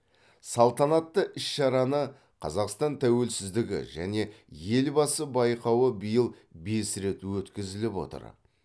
салтанатты іс шараны қазақстан тәуелсіздігі және елбасы байқауы биыл бес рет өткізіліп отыр